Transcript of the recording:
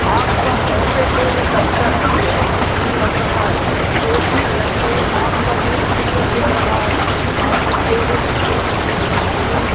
आपका ऑपिस हो या दफ्तर बहोत अच्छा लग रहा हैं ए_सी लगी है आपका रुम क्लियर दिख रहा है आपकी टेबल स्टूल मशीन --